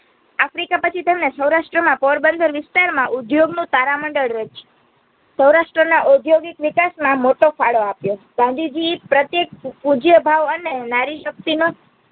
આફ્રિકાપછી તેમને સૌરાષ્ટ્રમાં પોરબંદર વિસ્તારમાં ઉદ્યોગનું તારામંડલ રચ્યું. સૌરાષ્ટ્રના ઔદ્યોગિક વિકાસમાં મોટો ફાડો આપ્યો ગાંધીજી પ્રતેક પૂજ્યભાવ અને નારીશક્તિનો